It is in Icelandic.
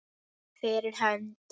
Fyrir hönd.